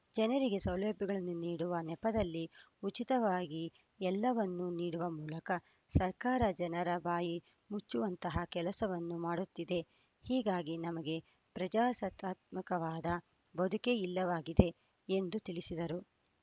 ಜನರಿಗೆ ಸೌಲಭ್ಯಗಳನ್ನು ನೀಡುವ ನೆಪದಲ್ಲಿ ಉಚಿತವಾಗಿ ಎಲ್ಲವನ್ನೂ ನೀಡುವ ಮೂಲಕ ಸರ್ಕಾರ ಜನರ ಬಾಯಿ ಮುಚ್ಚುವಂತಹ ಕೆಲಸವನ್ನು ಮಾಡುತ್ತಿದೆ ಹೀಗಾಗಿ ನಮಗೆ ಪ್ರಜಾಸತ್ತಾತ್ಮಕವಾದ ಬದುಕೇ ಇಲ್ಲವಾಗಿದೆ ಎಂದು ತಿಳಿಸಿದರು